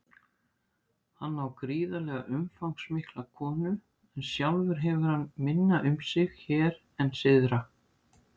Hann á gríðarlega umfangsmikla konu en sjálfur hefur hann minna um sig hér en syðra.